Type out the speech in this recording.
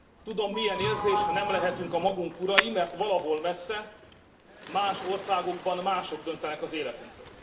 Tudom milyen érzés, ha nem lehetünk a magunk urai, mert valahol messze más országokban mások döntenek az életünkről.